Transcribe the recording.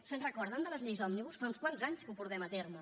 se’n recorden de les lleis òmnibus fa uns quants anys que ho portem a terme